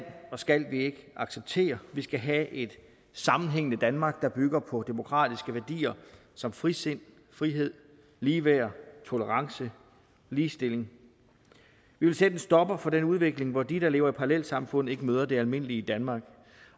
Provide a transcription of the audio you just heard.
og skal vi ikke acceptere vi skal have et sammenhængende danmark der bygger på demokratiske værdier som frisind frihed ligeværd tolerance ligestilling vi vil sætte en stopper for den udvikling hvor de der lever i parallelsamfund ikke møder det almindelige danmark